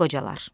Qocalar.